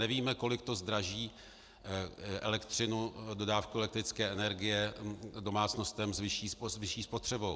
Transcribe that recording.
Nevíme, kolik to zdraží elektřinu, dodávku elektrické energie domácnostem s vyšší spotřebou.